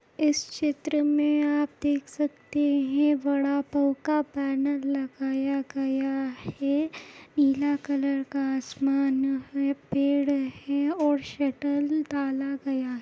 चित्र मे देख सकते है वडा पाव का बॅनर लगाया गया है पीला कलर का आसमान है पेड़ है और शटर डाला गया--